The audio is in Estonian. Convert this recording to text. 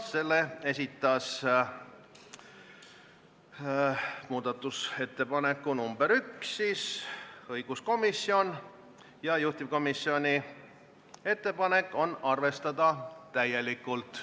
Selle muudatusettepaneku nr 1 esitas õiguskomisjon ja juhtivkomisjoni ettepanek on arvestada seda täielikult.